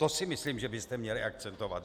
To si myslím, že byste měli akcentovat.